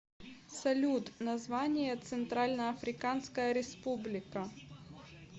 салют название центральноафриканская республика